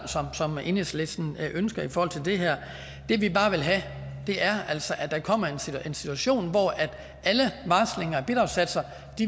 som enhedslisten ønsker i forhold til det her det vi bare vil have er altså at der kommer en situation hvor alle varslinger af bidragssatser